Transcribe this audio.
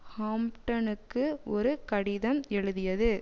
ஹாம்ப்டனுக்கு ஒரு கடிதம் எழுதியது